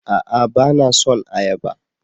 A'a! Ba na son ayaba.